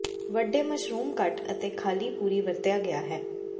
ਵੱਡੇ ਮਸ਼ਰੂਮ ਕੱਟ ਅਤੇ ਖ਼ਾਲੀ ਪੂਰੀ ਵਰਤਿਆ ਗਿਆ ਹੈ